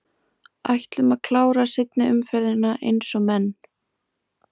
Ætlum að klára seinni umferðina eins og menn!